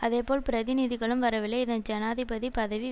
அதேபோல் பிரதிநிதிகளும் வரவில்லை இதன் ஜனாதிபதி பதவி